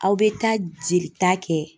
Aw bɛ taa jelita kɛ.